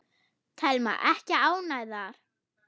Telma: Ekki ánægðar?